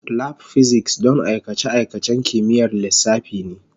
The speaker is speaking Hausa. Lab Physics don aikace-aikacen kimiyyar lissafi ne.